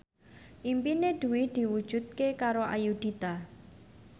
impine Dwi diwujudke karo Ayudhita